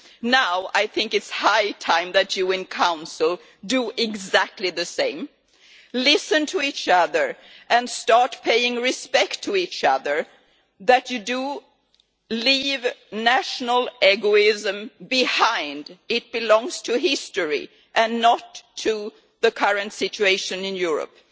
Now I think it is high time that you, in Council, do exactly the same listen to each other and start paying respect to each other, leaving national egoism behind. This belongs to history and not to the current situation in Europe.